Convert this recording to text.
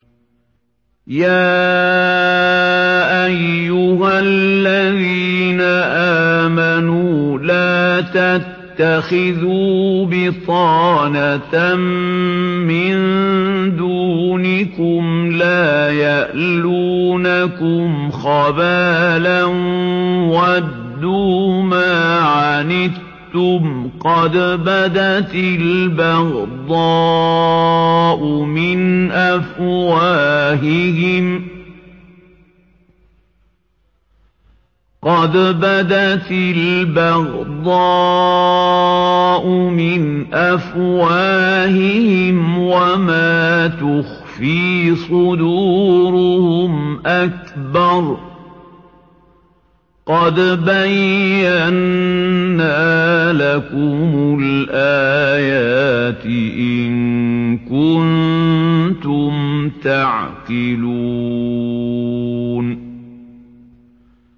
يَا أَيُّهَا الَّذِينَ آمَنُوا لَا تَتَّخِذُوا بِطَانَةً مِّن دُونِكُمْ لَا يَأْلُونَكُمْ خَبَالًا وَدُّوا مَا عَنِتُّمْ قَدْ بَدَتِ الْبَغْضَاءُ مِنْ أَفْوَاهِهِمْ وَمَا تُخْفِي صُدُورُهُمْ أَكْبَرُ ۚ قَدْ بَيَّنَّا لَكُمُ الْآيَاتِ ۖ إِن كُنتُمْ تَعْقِلُونَ